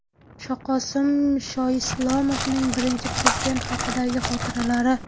Shoqosim Shoislomovning Birinchi Prezident haqidagi xotiralari .